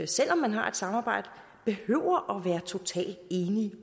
selv om man har et samarbejde behøver være totalt enige